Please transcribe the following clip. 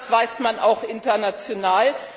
Das weiß man auch international.